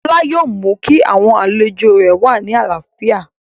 Lọlá yóò mú kí àwọn àlejò rẹ̀ wà ní àlàáfíà